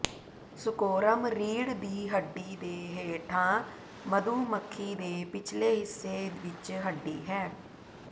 ਸੁਕੋਰਮ ਰੀੜ੍ਹ ਦੀ ਹੱਡੀ ਦੇ ਹੇਠਾਂ ਮਧੂ ਮੱਖੀ ਦੇ ਪਿਛਲੇ ਹਿੱਸੇ ਵਿਚ ਹੱਡੀ ਹੈ